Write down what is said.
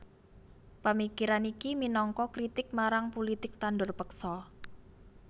Pamikiran iki minangka kritik marang pulitik tandur peksa